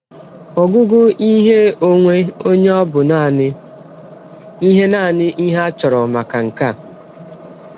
Ọgụgụ ihe ọnwe ọnye ọ̀ bụ nanị ihe nanị ihe a chọrọ maka nke a?